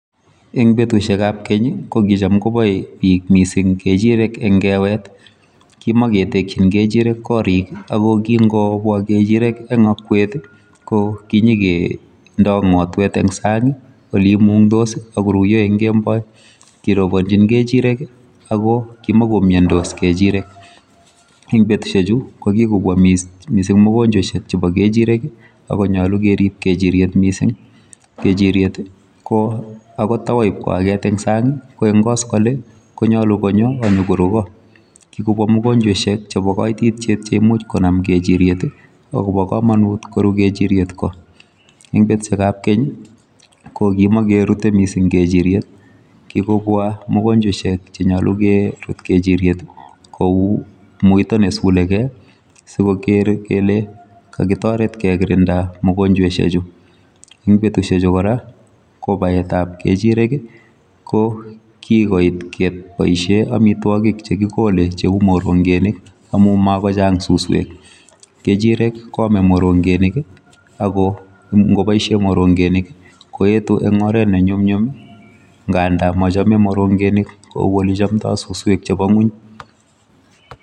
Eng betusikab ngeny ko kicham koboe bik missing eng kewet kimaketekji kechirek korik ako kikobwa kechirek eng okwek ii ko kinyekendoik ngotwet eng sang ole imundos ak koruiyo eng kemboi. Kirobonjin kechirek ak kimakomiondos kechirek eng betusiechu kikobwa missing mugonjwesiek chebo kechirek ak konyolu kerib kechiriet missing. Kechiriet ko akot ta wo koaket eng sang ko eng koskoleng konyolu konyo ak nyokoru ko. Kikobwa mugonjweshek chebo kaititiet che imuch konam kechiriet ako bo kamanut koru kechiriek ko. Eng betusiekab keny ko kimakerutei kechiriet kikobwa mugonjweshek che nyolu kerut kechiriet kou muito ne suleigei sikor kele kakitoret kekirinda mugonjweshechu. Eng betusie chu kora kobaetab kechirek ko kikoit keboishe amitwogik che kikolei cheu morongenik amu makochang suswek. Kechirek koamei morongeni ako ngoboishe morongenik koetu eng oret ne nyumnyum ngada mochomei morongenik kou suswek chebo ngwony.